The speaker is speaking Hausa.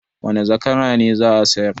Wane zakara ne za a sayar?